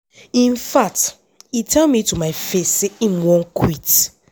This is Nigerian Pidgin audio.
in fact e tell me to my my face say im wan quit.